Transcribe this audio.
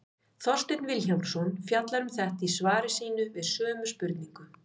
Þorsteinn Vilhjálmsson fjallar um þetta í svari sínu við sömu spurningu.